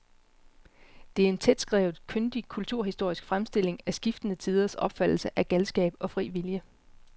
Det er en tætskrevet, kyndig kulturhistorisk fremstilling af skiftende tiders opfattelse af galskab og fri vilje.